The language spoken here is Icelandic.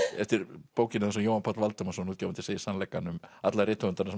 eftir bókinni þar sem Jóhann Páll Valdimarsson útgefandi segir sannleikann um alla rithöfundana sem